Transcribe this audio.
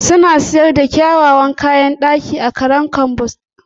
Suna sayar da kyawawan kayan ɗaki a Harem Istanbul.